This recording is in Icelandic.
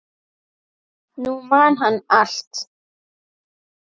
Nú man hann allt.